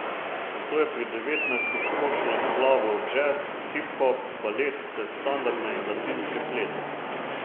Nato je pri devetnajstih skočila na glavo v džez, hip hop, balet ter standardne in latinske plese.